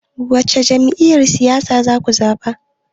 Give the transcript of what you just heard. Wace Jam'iyyar siyasa zaku zaɓa?